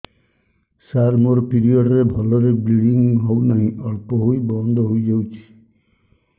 ସାର ମୋର ପିରିଅଡ଼ ରେ ଭଲରେ ବ୍ଲିଡ଼ିଙ୍ଗ ହଉନାହିଁ ଅଳ୍ପ ହୋଇ ବନ୍ଦ ହୋଇଯାଉଛି